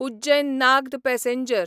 Ujjain Nagda passenger